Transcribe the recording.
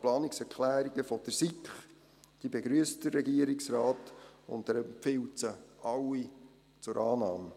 Die Planungserklärungen der SiK begrüsst der Regierungsrat, und er empfiehlt sie alle zur Annahme.